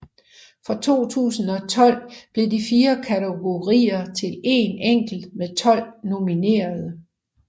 Fra 2012 blev de fire kategorier til en enkelt med 12 nominerede